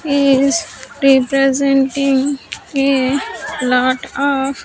Is representing a lot of.